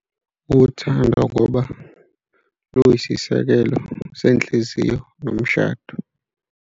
Uthando ngoba luyisisekelo senhliziyo nomshado.